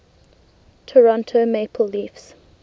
toronto maple leafs